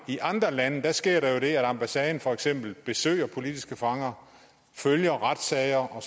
i andre lande sker der jo det at ambassaden for eksempel besøger politiske fanger følger retssager og